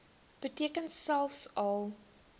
beteken selfs al